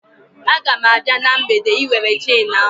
A ga m abịa na mgbede Ị were chenu ahụ